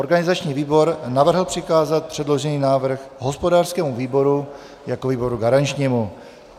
Organizační výbor navrhl přikázat předložený návrh hospodářskému výboru jako výboru garančnímu.